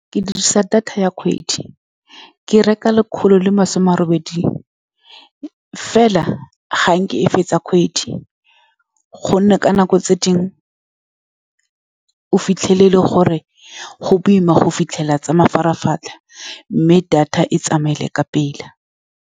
Ke dirisa data ya kgwedi. Ke reka le kgolo le masome a le robedi, fela ga nke e fetsa kgwedi, ka gonne ka nako tse dingwe o fitlhele e le gore go boima go fitlhelela tsa mafaratlhatlha, mme data e tsamaile ka pela.